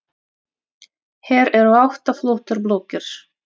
Hér eru átta flottar blokkir.